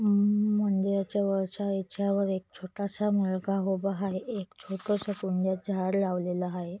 अम्म मंदिराच्या वरच्या याच्या वर एक छोटसा मुलगा उभा आहे एक छोटसं कुंड्यात झाड लावलेल आहे.